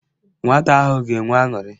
Nwata ahụ ga-enwe aṅụrị.